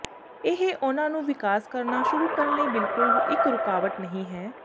ਇਹ ਉਹਨਾਂ ਨੂੰ ਵਿਕਾਸ ਕਰਨਾ ਸ਼ੁਰੂ ਕਰਨ ਲਈ ਬਿਲਕੁਲ ਇਕ ਰੁਕਾਵਟ ਨਹੀਂ ਹੈ